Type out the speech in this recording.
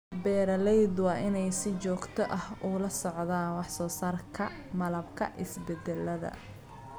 Beeralaydu waa inay si joogto ah ula socdaan wax soo saarka malabka isbeddellada.